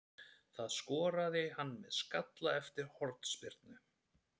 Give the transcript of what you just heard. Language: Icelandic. Það skoraði hann með skalla eftir hornspyrnu.